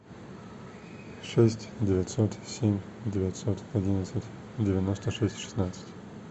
шесть девятьсот семь девятьсот одиннадцать девяносто шесть шестнадцать